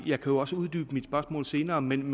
jeg kan jo også uddybe mit spørgsmål senere men